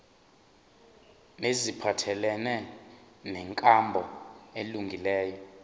neziphathelene nenkambo elungileyo